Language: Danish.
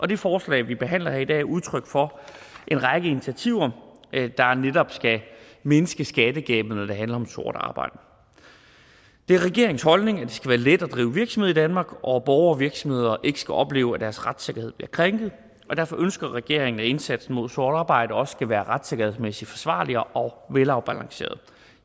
det forslag vi behandler her i dag er udtryk for en række initiativer der netop skal mindske skattegabet når det handler om sort arbejde det er regeringens holdning at det skal være let at drive virksomhed i danmark og at borgere og virksomheder ikke skal opleve at deres retssikkerhed bliver krænket derfor ønsker regeringen at indsatsen mod sort arbejde også skal være retssikkerhedsmæssigt forsvarlig og velafbalanceret